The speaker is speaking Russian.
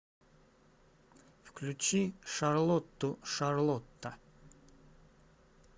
включи шарлоту шарлота